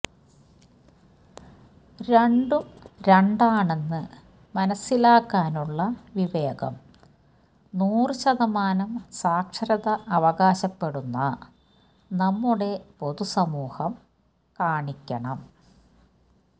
രണ്ടും രണ്ടാണ്ണെന്ന് മനസ്സിലാക്കാനുള്ള വിവേകം നൂറ് ശതമാനം സാക്ഷരത അവകാശപ്പെടുന്ന നമ്മുടെ പൊതുസമൂഹം കാണിക്കണം